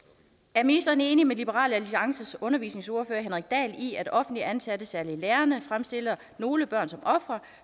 er ministeren enig med liberal alliances undervisningsordfører henrik dahl i at offentligt ansatte særlig lærerne fremstiller nogle børn som ofre